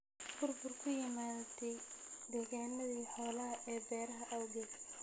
Burbur ku yimaadda deegaannadii xoolaha ee beeraha awgeed.